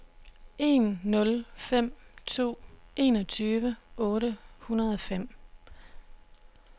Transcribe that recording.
en nul fem to enogtyve otte hundrede og fem